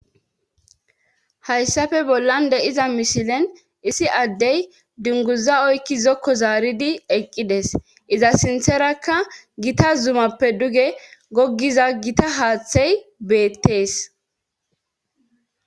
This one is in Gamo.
hayssafe bollan de7iza misilen issi addey dunguza oykki zokko zaaridi eqqides iza sintherakka gita zumappe duge goggiza gita haaththey beettees.